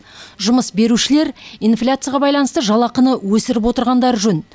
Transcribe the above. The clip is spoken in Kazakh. жұмыс берушілер инфляцияға байланысты жалақыны өсіріп отырғандары жөн